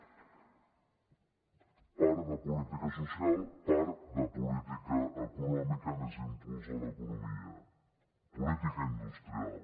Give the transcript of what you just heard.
part de política social part de política econòmica més impuls a l’economia política industrial